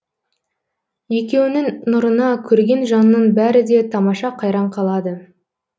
екеуінің нұрына көрген жанның бәрі де тамаша қайран қалады